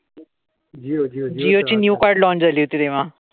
जिओ ची new card launch झाली होती तेव्हा.